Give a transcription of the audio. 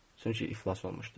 Çünki iflas olmuşdu.